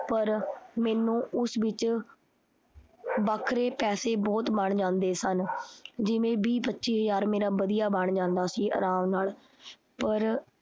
ਪਰ ਮੈਨੂੰ ਉਸ ਵਿਚ ਵੱਖਰੇ ਪੈਸੇ ਬਹੁਤ ਬਣ ਜਾਂਦੇ ਸਨ। ਜਿਵੇ ਵੀਹ ਪੱਚੀ ਹਜ਼ਾਰ ਮੇਰਾ ਵਧੀਆ ਬਣ ਜਾਂਦਾ ਸੀ ਅਰਾਮ ਨਾਲ ਪਰ